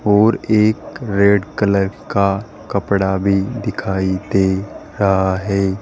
और एक red colour का कपड़ा भी दिखाई दे रहा है।